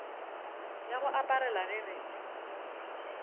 ya go aparela ge re